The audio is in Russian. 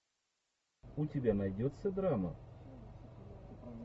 у тебя найдется драма